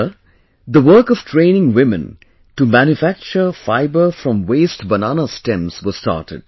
Here, the work of training women to manufacture fibre from the waste banana stems was started